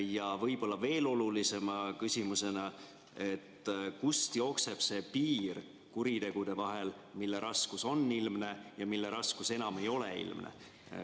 Ja võib-olla veel olulisema küsimusena, et kust jookseb see piir kuritegude vahel, mille raskus on ilmne ja mille raskus enam ei ole ilmne.